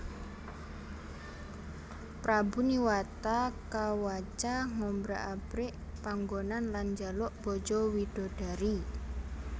Prabu Niwata Kawaca ngobrak abrik panggonan lan njaluk bojo widodari